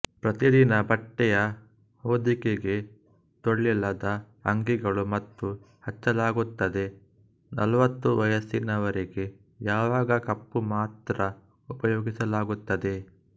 ಪ್ರತಿದಿನ ಬಟ್ಟೆಯ ಹೊಂದಿಕೆಗೆ ತೋಳಿಲ್ಲದ ಅಂಗಿಗಳು ಬಣ್ಣ ಹಚ್ಚಲಾಗುತ್ತದೆ ನಲ್ವತ್ತು ವಯಸ್ಸಿನವರೆಗೆ ಯಾವಾಗ ಕಪ್ಪು ಮಾತ್ರ ಉಪಯೋಗಿಸಲಾಗುತ್ತದೆ